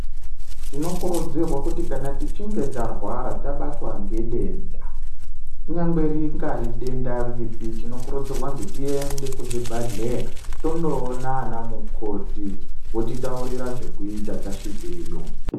Tinokurudzirwa kuti kana tichinge tarwara tabatwa ngedenda kunyangwe rinyari denda ripi tinokurudzirwa kuzwi tiende kuzvibhahleya toona ana mukoti votitaurira zvekuita tasvikeyo .